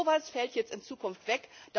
So etwas fällt jetzt in Zukunft weg.